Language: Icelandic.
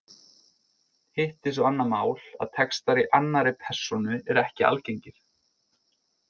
Hitt er svo annað mál að textar í annarri persónu eru ekki algengir.